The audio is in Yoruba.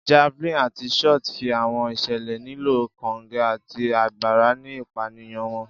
Javelin ati shot fi awọn iṣẹlẹ nilo konge ati agbara ni ipaniyan wọn.